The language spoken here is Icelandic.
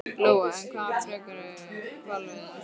Lóa: En hvað með frekari hvalveiðar?